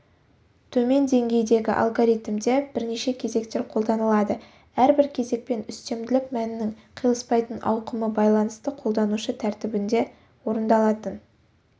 төмен деңгейдегі алгоритмде бірнеше кезектер қолданылады әрбір кезекпен үстемділік мәнінің қиылыспайтын ауқымы байланысты қолданушы тәртібінде орындалатын